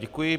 Děkuji.